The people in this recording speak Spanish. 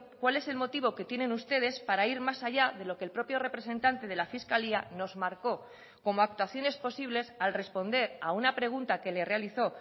cuál es el motivo que tienen ustedes para ir más allá de lo que el propio representante de la fiscalía nos marcó como actuaciones posibles al responder a una pregunta que le realizó